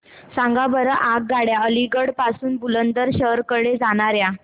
सांगा बरं आगगाड्या अलिगढ पासून बुलंदशहर कडे जाणाऱ्या